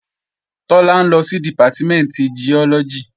Tọ́lá ń lọ sí Dìpátímẹ̀ntì Giọ́lọ́gì